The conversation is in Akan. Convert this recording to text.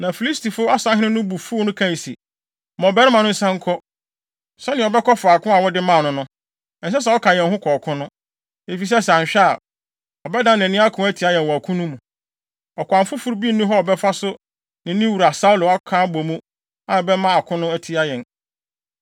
Na Filistifo asahene no bo fuw no kae se, “Ma ɔbarima no nsan nkɔ, sɛnea ɔbɛkɔ faako a wode maa no no. Ɛnsɛ sɛ ɔka yɛn ho kɔ ɔko no, efisɛ sɛ anhwɛ a, ɔbɛdan nʼani ako atia yɛn wɔ ɔko no mu. Ɔkwan foforo bi nni hɔ a ɔbɛfa so ne ne wura Saulo aka abɔ mu a ɛbɛma no ako atia yɛn ana?